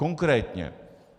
Konkrétně.